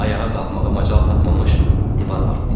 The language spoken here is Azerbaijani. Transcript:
Ayağa qalxmağa macal tapmamış divar partlayıb.